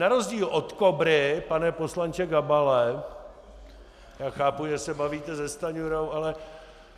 Na rozdíl od KOBRY - pane poslanče Gabale, já chápu, že se bavíte se Stanjurou, ale -